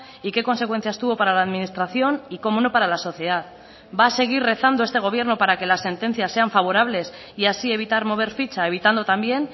y qué consecuencias tuvo para la administración y cómo no para la sociedad va a seguir rezando este gobierno para que la sentencias sean favorables y así evitar mover ficha evitando también